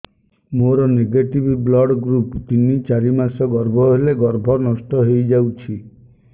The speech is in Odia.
ମୋର ନେଗେଟିଭ ବ୍ଲଡ଼ ଗ୍ରୁପ ତିନ ଚାରି ମାସ ଗର୍ଭ ହେଲେ ଗର୍ଭ ନଷ୍ଟ ହେଇଯାଉଛି